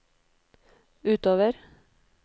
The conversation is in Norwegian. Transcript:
utover